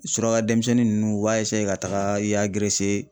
Suraka denmisɛnnin ninnu u b'a ka taga i y'a